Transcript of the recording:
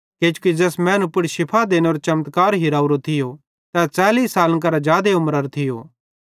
किजोकि ज़ैस मैनू पुड़ शिफ़ा देनेरो चमत्कार हिरावरो थियो तै 40 सालन करां जादे उमरारो थियो